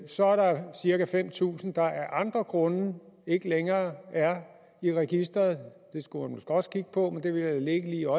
så er der cirka fem tusind der af andre grunde ikke længere er i registeret det skulle man også kigge på men det vil jeg lade ligge lige